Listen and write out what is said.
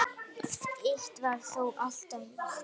Eitt var þó alltaf víst.